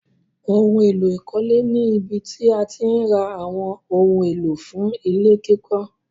Óhun èlò ìkọ́lé ni ibí tí àti ǹ rà awọn ohun èlò fún ilẹ̀-kikọ̀.